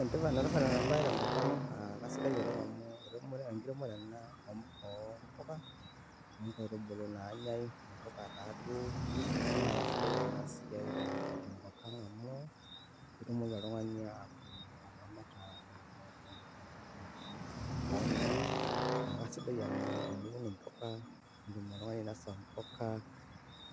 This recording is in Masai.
Enetipat ena siai tenkopang, kasidai oleng amu eunore oompuka .naa kasidai ena siai tenkopang amu ketumoki oltungani ataramata keon ino . Kisidai amu teniun impuka itumoki ainosa impuka